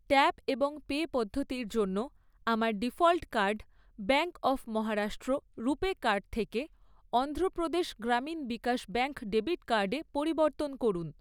Tap এবং pay পদ্ধতির জন্য আমার default card bank of Maharashtra RuPay card থেকে অন্ধ্রপ্রদেশ গ্রামীণ বিকাশ ব্যাঙ্ক ডেবিট কার্ডে পরিবর্তন করুন।